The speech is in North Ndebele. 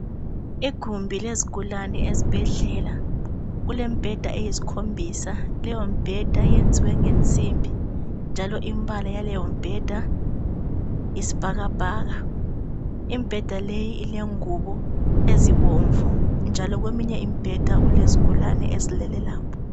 Igumbi lezigulane esibhedlela. Kule mbheda eyisikhombisa. Leyo mbheda yenziwe ngensimbi. Njalo imbala yaleyo mbheda yisbhakabhaka. Imbheda leyi ilengubo ezibomvu. Njalo kweminye imbheda kulezgulane ezilele lapho.